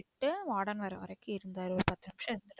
என் warden வர வரைக்கும் இருந்தாரு. ஒரு பாத்து நிமிஷம் இருந்துட்டு